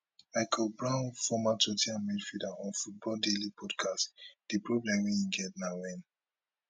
michael brown former tot ten ham midfielder on football daily podcast di problem we get na wen